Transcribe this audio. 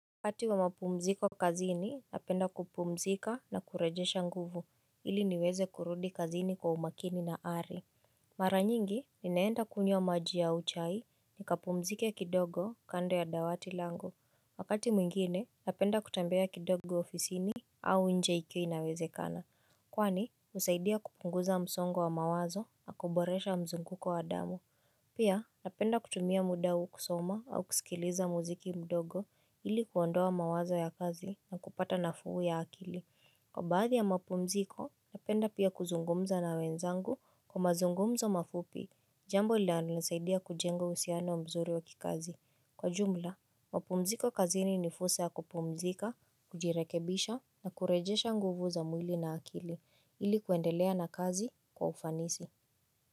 Wakati wa mapumziko kazini napenda kupumzika na kurejesha nguvu ili niweze kurudi kazini kwa umakini na ari Mara nyingi ninaenda kunywa maji au chai nikapumzike kidogo kando ya dawati langu. Wakati mwingine napenda kutembea kidogo ofisini au nje ikiwa inawezekana Kwani usaidia kupunguza msongo wa mawazo na kuboresha mzunguko wa damu Pia napenda kutumia muda huu kusoma au kusikiliza muziki mdogo ili kuondoa mawazo ya kazi na kupata nafuu ya akili. Kwa baadhi ya mapumziko napenda pia kuzungumza na wenzangu kwa mazungumzo mafupi jambo linalo nisaidia kujenga uhusiano mzuri wa kikazi. Kwa jumla mapumziko kazini ni fursa ya kupumzika, kujirekebisha na kurejesha nguvu za mwili na akili ili kuendelea na kazi kwa ufanisi.